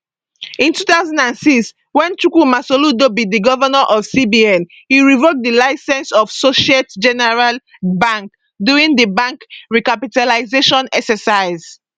in 2006 wen chukwuma soludo be di govnor of cbn e revoke di licence of societe generale bank during di bank recapitalisation exercise